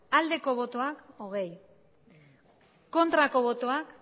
aldeko botoak aurkako botoak